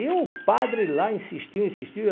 E o padre lá insistiu, insistiu.